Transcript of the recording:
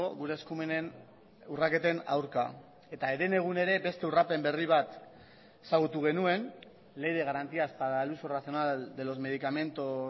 gure eskumenen urraketen aurka eta herenegun ere beste urrapen berri bat ezagutu genuen ley de garantías para el uso racional de los medicamentos